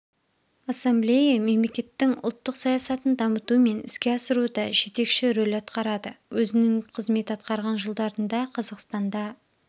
ассамблея мемлекеттің ұлттық саясатын дамыту мен іске асыруда жетекші рөль атқарады өзінің қызмет атқарған жылдарында қазақстанда